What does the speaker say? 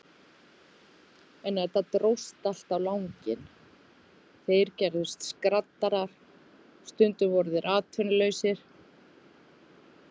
En þetta dróst allt á langinn, þeir gerðust skraddarar, stundum voru þeir atvinnulausir.